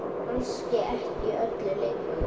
Kannski ekki öllu lengur?